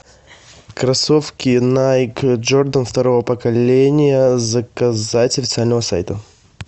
кроссовки найк джордан второго поколения заказать с официального сайта